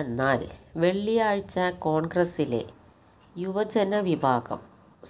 എന്നാല് വെള്ളിയാഴ്ച കോണ്ഗ്രസിലെ യുവജന വിഭാഗം